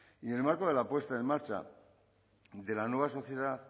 y en el marco de la puesta en marcha de la nueva sociedad